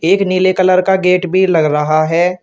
एक नीले कलर का गेट भी लगा रहा है।